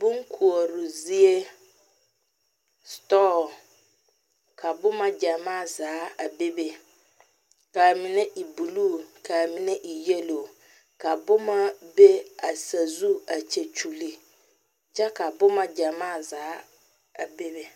Bonkoɔre zie la ka boma gyamaa zaa a bebe kaa mine e buluu kaa mine e doɔre, ka boma be a sazu a kyɛkyoli kyɛ ka boma gyamaa zaa bebe